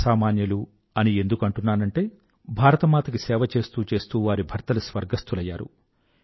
అసామాన్యులు అని ఎందుకు అంటున్నానంటే భారతమాత కి సేవ చేస్తూ చేస్తూ వారి భర్తలు స్వర్గస్థులయ్యరు